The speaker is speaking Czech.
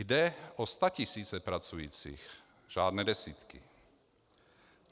Jde o statisíce pracujících, žádné desítky.